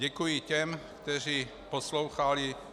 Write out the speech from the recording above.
Děkuji těm, kteří poslouchali.